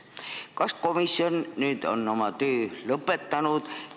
Kas komisjon on oma töö lõpetanud?